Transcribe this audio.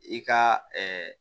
I ka